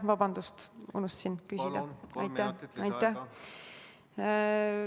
Vabandust, unustasin küsida!